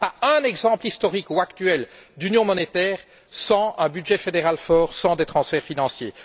Il n'y a pas un exemple historique ou actuel d'union monétaire sans un budget fédéral fort, sans des transferts financiers.